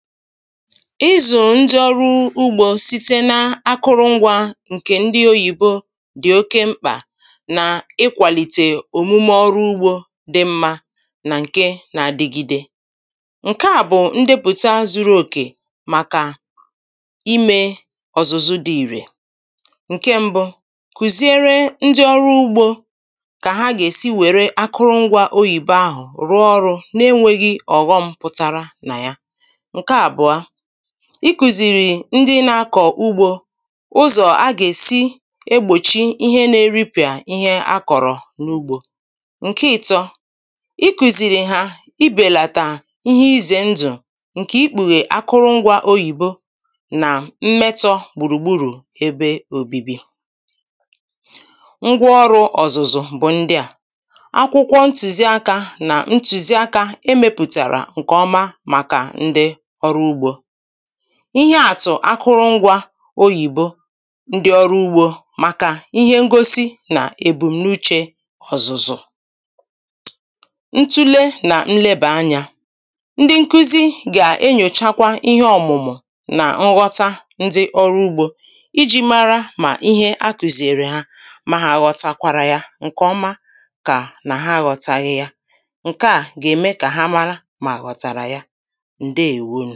ịzụ̀ ndị ọrụ ugbȯ site n’akụrụ̇ngwȧ ǹkè ndị oyìbo dị oke mkpa nà ịkwalite omume ọrụ ugbȯ dị mma nà ǹkè nà-adịgide, ǹkè à bụ̀ ndepùta zuru òkè màkà ime ọ̀zụ̀zụ dị irè, ǹkè mbụ̇ kùziere ndị ọrụ ugbȯ kà ha gà-èsi wère akụrụ̇ngwȧ oyìbo ahụ̀ rụ ọrụ̇ na-enwèghị ọ̀ghọm pụtara nà ya, nke abụọ ikùzìrì ndị nà-akọ̀ ugbȯ ụzọ̀ a gà-èsi egbòchi ihe nà-eripị̀à ihe a kọ̀rọ̀ n’ugbȯ, ǹkè ị̀tọ ikùzìrì hà ibèlàtà ihe izè ndụ̀, ǹkè ikpùghè akụrụ̇ngwȧ oyìbo nà mmetọ̇ gbùrùgbùrù ebe òbibi. Ngwa ọrụ̇ ọ̀zụ̀zụ̀ bụ̀ ndị à: akwụkwọ ntùziaka nà ntùziaka emepùtàrà ǹkè ọma màkà ndị ihe àtụ̀ akụrụ̇ngwȧ oyìbo, ndị ọrụ ugbȯ, màkà ihe ngosi nà ebumnuche ọ̀zụ̀zụ̀. Ntùle nà nlebà-anyȧ ndị nkuzi gà-enyòchakwa ihe ọ̀mụ̀mụ̀ nà nghọta ndị ọrụ ugbȯ iji̇ mara mà ihe a kùziere ha ma hà aghọ̀tàkwàrà ya ǹkè ọma ma ọ̀ bụ hà aghọtaghị ya, ǹkè a gà-eme ka ha mara ma hà aghotara ya. Ndewo.